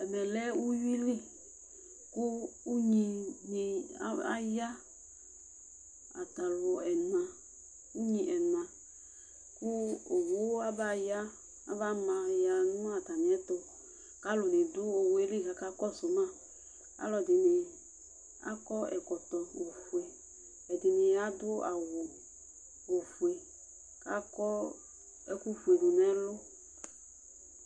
Ɛmɛ lɛ ʋwuili kʋ ʋynini ayaa, atalʋ unakʋ owu abaya abamaya n'atamiɛtʋ alʋlʋ ɖʋ owuɛli k'akakɔsuma alʋɛɖini akɔ ɛkɔtɔ, ofue', ɛɖini aɖʋ awu ofue' k'akɔ ɛkʋfue ɖʋnʋ ɛlʋ